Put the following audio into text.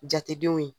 Jatedenw ye